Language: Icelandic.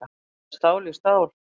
Það er stál í stál